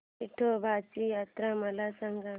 येडोबाची यात्रा मला सांग